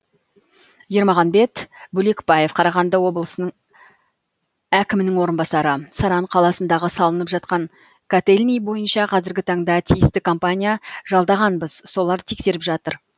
ермағанбет бөлекбаев қарағанды облысының әкімінің орынбасары саран қаласындағы салынып жатқан котельний бойынша қазіргі таңда тиісті компания жалдағанбыз солар тексеріп жатыр